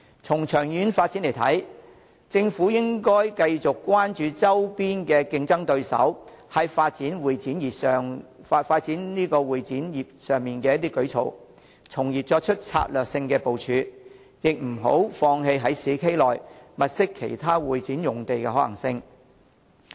從長遠發展的需要來看，政府應該繼續關注周邊競爭對手在發展會展業上的舉措，從而作出策略性的部署，亦不要放棄在市區內物色其他會展用地的可行性。